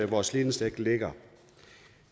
vores ledningsnet ligger